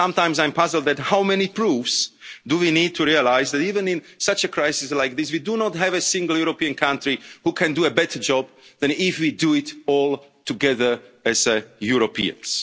Europe. Sometimes I'm puzzled by how much proof we need to realise that, even in such a crisis as this, we do not have a single European country that can do a better job than if we do it all together as Europeans.